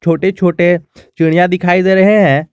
छोटे छोटे चिड़िया दिखाई दे रहे हैं।